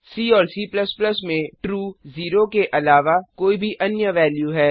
सी और C में true 0 के अलावा कोई भी अन्य वेल्यू है